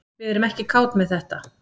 Við erum ekki kát með þetta